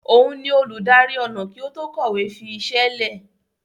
Òun ni olùdarí ọnà kí ó tó kọ̀wé fi iṣẹ́ lẹ̀.